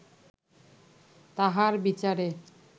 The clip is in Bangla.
তাঁহার বিচারে